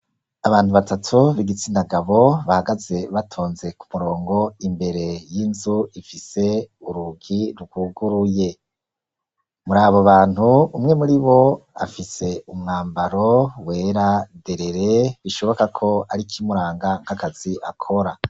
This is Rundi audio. Abantu batatu b'igitsina gabo, bahagaze batonze ku murongo imbere y'inzu ifise urugi rwuguruye, muri abo bantu umwe muri bo afise umwambaro wera derere, bishoboka ko ari kimuranga nk'akazi akora.